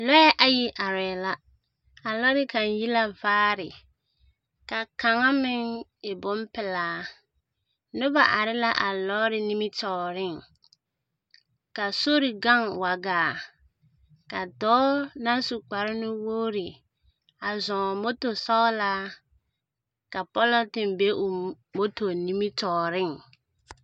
Lͻԑ ayi arԑԑ la. A lͻre kaŋ yi la vaare ka kaŋa meŋ e bompelaa. Noba are la a lͻͻre nimitͻͻreŋ. Ka sori gaŋ wag aa, ka dͻͻ naŋ su kpare-nuwogiri a zͻͻŋ moto sͻgelaa ka pͻlͻnteŋ be oo nimitͻͻreŋ.